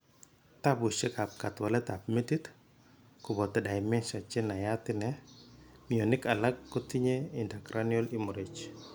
Tapushiek ap katwalet ap metit, kopoto dementia che nayat ine, mionik alak kotinye intracranial hemorrhage.